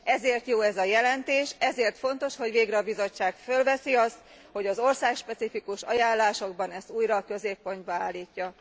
Ezért jó ez a jelentés, ezért fontos, hogy végre a Bizottság fölveti azt, hogy az országspecifikus ajánlásokban ezt újra a középpontba állítja.